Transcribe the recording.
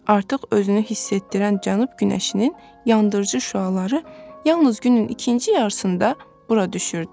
Artıq özünü hiss etdirən Cənub günəşinin yandırıcı şüaları yalnız günün ikinci yarısında bura düşürdü.